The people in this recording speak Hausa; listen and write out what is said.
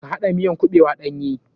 Ka haɗa miyan kuɓewan ɗanye.